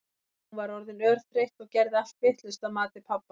Hún var orðin örþreytt og gerði allt vitlaust að mati pabba.